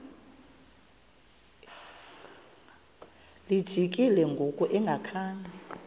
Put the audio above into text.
lijikile ngoku engakhanga